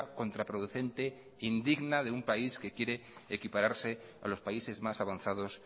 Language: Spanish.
contraproducente indigna de un país que quiere equipararse a los países más avanzados